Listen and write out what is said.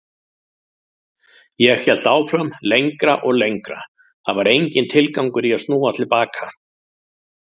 Ég hélt áfram lengra og lengra, það var enginn tilgangur í að snúa til baka.